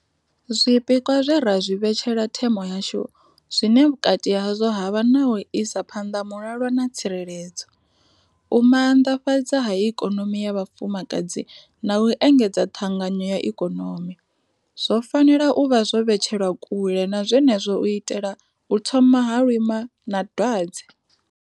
Zwi pikwa zwe ra zwi vhetshela themo yashu, zwine vhukati hazwo ha vha na u isa phanḓa mulalo na tsireledzo, u maanḓafhadza ha ikonomi ya vhafumakadzi na u engedzedza ṱhanganyo ya ikonomi, zwo fanela u vha zwo vhetshelwa kule na zwenezwo u itela u thoma ha lwima na dwadze.